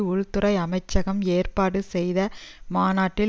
உள்துறை அமைச்சகம் ஏற்பாடு செய்த மாநாட்டில்